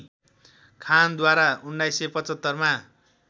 खानद्वारा १९७५ मा